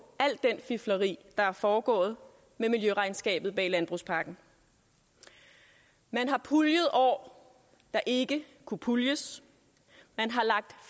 al det fifleri der er foregået med miljøregnskabet bag landbrugspakken man har puljet år der ikke kunne puljes man har lagt